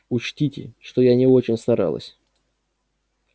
учтите что я не очень старалась